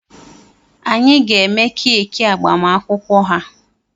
Anyị ga-eme keeki agbamakwụkwọ ha.